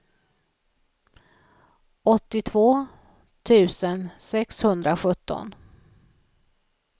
åttiotvå tusen sexhundrasjutton